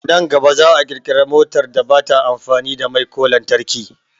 Nan gaba za'a kirkira motar da bata amfani da mai ko lantarki